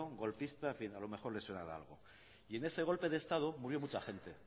golpista en fin a lo mejor les suena de algo y en ese golpe de estado murió mucha gente entre